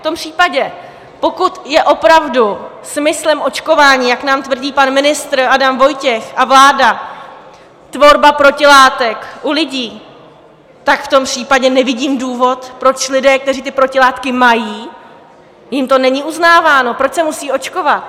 V tom případě, pokud je opravdu smyslem očkování, jak nám tvrdí pan ministr Adam Vojtěch a vláda, tvorba protilátek u lidí, tak v tom případě nevidím důvod, proč lidé, kteří ty protilátky mají, jim to není uznáváno, proč se musí očkovat?